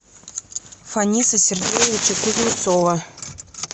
фаниса сергеевича кузнецова